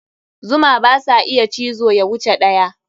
Zuma basa iya cizo ya wuce ɗaya.